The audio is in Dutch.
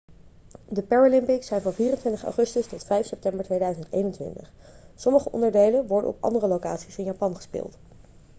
de paralympics zijn van 24 augustus tot 5 september 2021 sommige onderdelen worden op andere locaties in japan gespeeld